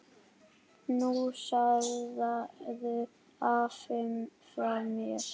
Knúsaðu afa frá mér.